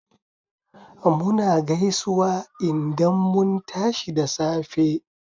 Muna gaisuwa indan mun tashi da safe